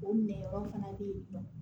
O minɛ yɔrɔ fana bɛ yen nɔ